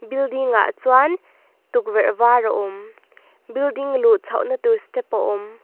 building ah chuan tukverh var a awm building luh chhoh na tur step a awm.